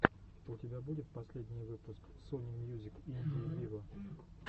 у тебя будет последний выпуск сони мьюзик индии виво